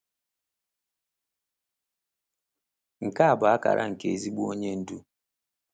Nke a bụ akara nke ezigbo onye ndu.